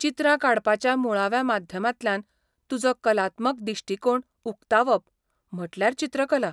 चित्रां काडपाच्या मुळाव्या माध्यमांतल्यान तुजो कलात्मक दिश्टीकोन उक्तावप म्हटल्यार चित्रकला.